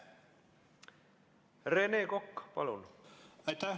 Rene Kokk, palun!